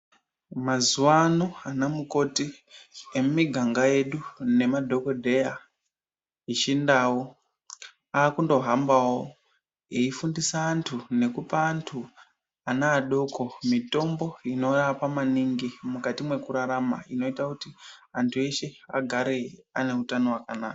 Mazuwano anamukoti emumiganga yedu nemadhokodheya echindau akundohambawo eifundisa antu nekupa antu, ana adoko mitombo inorapa maningi mukati mwekurarama inoita kuti antu eshe agare aneutano hwakanaka.